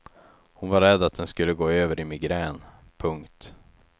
Hon var rädd att den skulle gå över i migrän. punkt